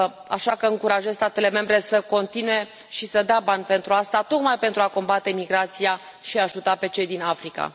Așa că încurajez statele membre să continue și să dea bani pentru asta, tocmai pentru a combate imigrația și a ajuta pe cei din Africa.